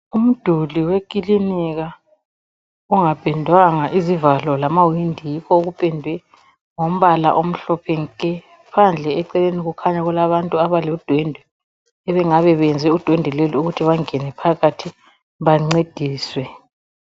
Umduli wekilinika ongapendwanga. Izivalo lamawindi yikho okupendwe ngombala omhlophe nke. Phandle eceleni kukhanya kulabantu abenze udwendwe. Bangabe benze udwendwe lolu ukuthi bangene phakathi, bancediswe.